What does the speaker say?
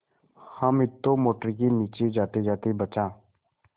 हामिद तो मोटर के नीचे जातेजाते बचा